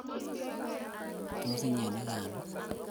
Tos, inyee Ii gaa?